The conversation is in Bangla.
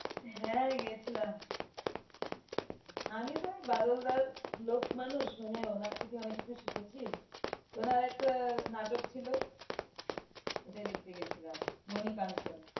হ্যাঁ গেছিলাম। আমি তো ওই বাদলদার লোক মানুষ মানে ওনার থেকে অনেক কিছু শিখেছি ওনার একটা নাটক ছিলো ওটা দেখতে গিয়েছিলাম মনি কাঞ্চন।